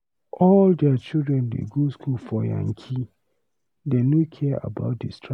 All their children dey go school for yankee, dey no care about di strike.